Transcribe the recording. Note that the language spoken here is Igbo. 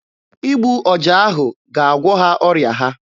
Igbu ọja ahụ ga-agwọ ha ọrịa ha.